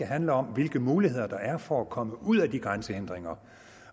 handle om hvilke muligheder der er for at komme ud af de grænsehindringer